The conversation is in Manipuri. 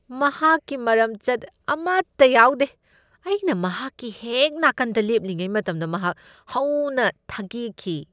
ꯃꯍꯥꯛꯀꯤ ꯃꯔꯝꯆꯠ ꯑꯃꯠꯇ ꯌꯥꯎꯗꯦ꯫ ꯑꯩꯅ ꯃꯍꯥꯛꯀꯤ ꯍꯦꯛ ꯅꯥꯀꯟꯗ ꯂꯦꯞꯂꯤꯉꯩ ꯃꯇꯝꯗ ꯃꯍꯥꯛ ꯍꯧꯅ ꯊꯒꯦꯛꯈꯤ꯫